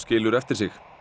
skilur eftir sig